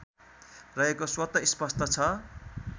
रहेको स्वत स्पष्ट छ